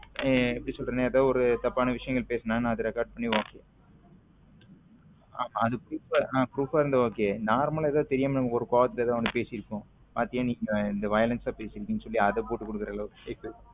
எப்பிடி சொல்ல்றதுன ஒரு தப்பான விஷயங்கள் பேசுன அதா record பண்ணி அது proof ஆ இருந்த okay normal எதாவது தெரியாம நம்மக்கு ஒரு கோவத்துல எதாவது பெசிருபோம் பாத்திய இத violence ஆ பேசிருக்க அதா போட்டு குடுக்குற ஆளவுக்கு